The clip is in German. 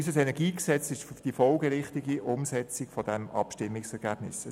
Unser KEnG ist die folgerichtige Umsetzung dieses Abstimmungsergebnisses.